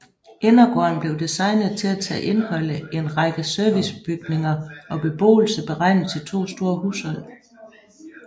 Indergården blev designet til ta indeholde en række servicebygninger og beboelse beregnet til to store hushold